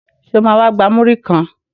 Sọ ma wá gba múrí kan?